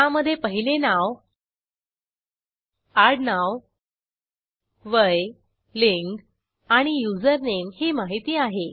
त्यामधे पहिले नाव आडनाव वय लिंग आणि युजरनेम ही माहिती आहे